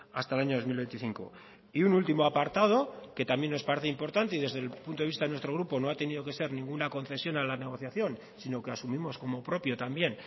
hasta el año dos mil veinticinco y un último apartado que también nos parece importante y desde el punto de vista de nuestro grupo no ha tenido que ser ninguna concesión a la negociación sino que asumimos como propio también